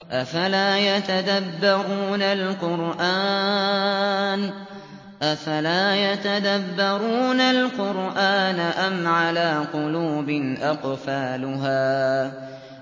أَفَلَا يَتَدَبَّرُونَ الْقُرْآنَ أَمْ عَلَىٰ قُلُوبٍ أَقْفَالُهَا